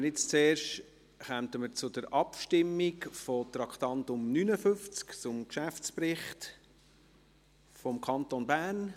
Wir kommen zuerst unter dem Traktandum 59 zur Abstimmung über den Geschäftsbericht des Kantons Bern.